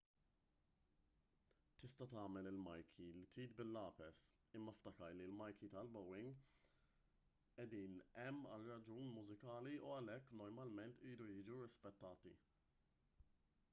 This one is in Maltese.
tista' tagħmel il-marki li trid bil-lapes imma ftakar li l-marki tal-bowing qiegħdin hemm għal raġuni mużikali u għalhekk normalment iridu jiġu rispettati